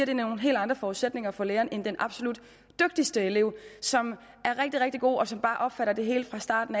det nogle helt andre forudsætninger for læreren end i den absolut dygtigste elev som er rigtig rigtig god og som bare opfatter det hele fra starten